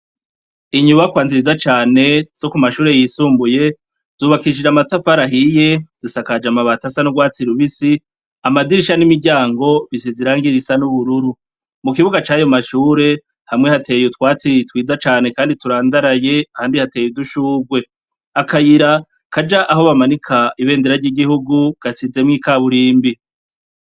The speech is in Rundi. Inyubakwa nziza cane zo ku mashuri yisumbuye, zubakishije amatafari ahiye zisakaje amabati asa n'ugwatsi rubisi, amadirisha n'imiryango bisize irangi risa n'ubururu, mu kibuga cayo mashure hamwe hateye utwatsi twiza cane kandi turandaraye ahandi hateye udushugwe, akayira kaja aho bamanika ibendera gasizemo kaburimbi.